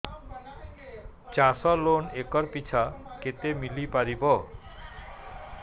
ଚାଷ loan acre ପିଛା କେତେ ମିଳି ପାରିବ